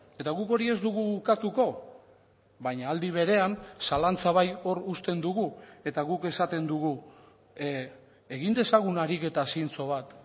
eta guk hori ez dugu ukatuko baina aldi berean zalantza bai hor uzten dugu eta guk esaten dugu egin dezagun ariketa zintzo bat